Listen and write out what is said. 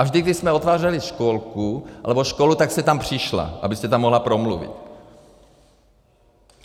A vždy, když jsme otvírali školku nebo školu, tak jste tam přišla, abyste tam mohla promluvit.